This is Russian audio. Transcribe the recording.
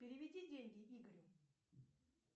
переведи деньги игорю